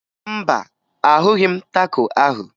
Mba, ahụghị m taco ahụ